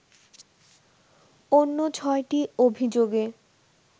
অন্য ছয়টি অভিযোগে